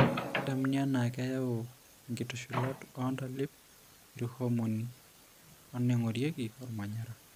Kedamuni anaa keyau inkitushulat oontalip, irhomoni, onaingorieki olmanyara.